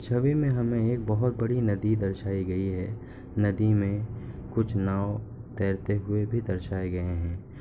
छवि में हमें एक बहुत बड़ी नदी दर्शाई गई है। नदी मे कुछ नाव तैरते हुए भी दर्शाऐ गए हैं।